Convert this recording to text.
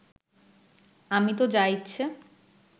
আমি তো যা ইচ্ছে